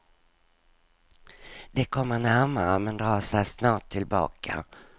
De kommer närmare men drar sig snart tillbaka.